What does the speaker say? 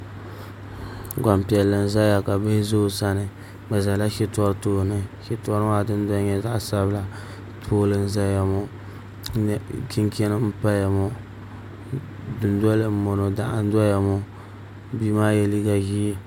Gbanpiɛli n ʒɛya ka bihi ʒɛ o sani bi ʒɛla shitɔri tooni shitɔri maa dundoya nyɛla zaɣ sabila pool n ʒɛya ŋɔ chinchin n paya ŋɔ dundoli n bɔŋɔ doɣu n doya ŋɔ ka bia maa yɛ liiga ʒiɛ